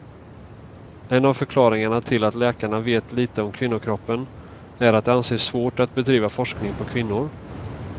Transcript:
En av förklaringarna till att läkarna vet lite om kvinnokroppen, är att det anses svårt att bedriva forskning på kvinnor.